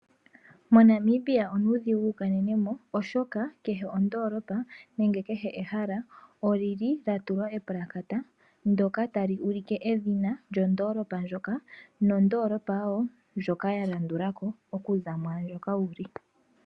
Mo Namibia onuudhigu wu kanene mo oshoka kehe ondoolopa nenge kehe ehala olili lya tulwa epulakata ndoka tali ulike edhina lyondoolopa ndjoka nondoolopa wo ndjoka ya landula ko okuza mwaandjoka wuli.